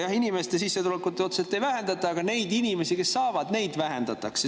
Jah, inimeste sissetulekuid otseselt ei vähendata, aga nende inimeste arvu, kes saavad, vähendatakse.